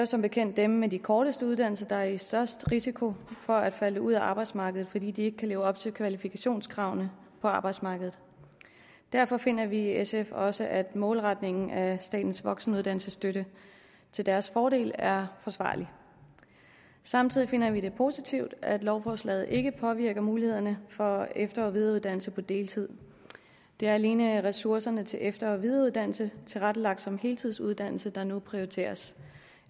som bekendt dem med de korteste uddannelser der er i størst risiko for at falde ud af arbejdsmarkedet fordi de ikke kan leve op til kvalifikationskravene på arbejdsmarkedet derfor finder vi i sf også at målretningen af statens voksenuddannelsesstøtte til deres fordel er forsvarlig samtidig finder vi det positivt at lovforslaget ikke påvirker mulighederne for efter og videreuddannelse på deltid det er alene ressourcerne til efter og videreuddannelse tilrettelagt som heltidsuddannelse der nu prioriteres